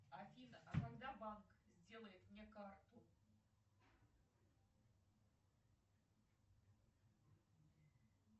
афина а когда банк сделает мне карту